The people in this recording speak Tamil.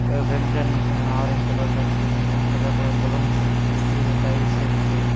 Ah red and ah orange கலர்ல இருக்கு இங்க கலர் கலர் பலூன்ஸ் இருக்கு கீழ டைல்ஸ் இருக்கு.